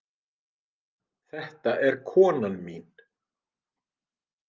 Þetta er konan mín.